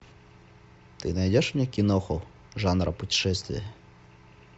ты найдешь мне киноху жанра путешествия